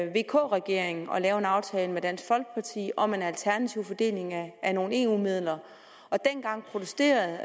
vk regeringen at lave en aftale med dansk folkeparti om en alternativ fordeling af nogle eu midler og dengang protesterede